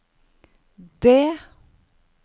det